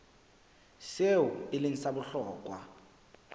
seo e leng sa bohlokwa